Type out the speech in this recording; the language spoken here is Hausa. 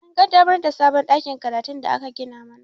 An ƙaddamar da sabon ɗakin karatun da aka gina mana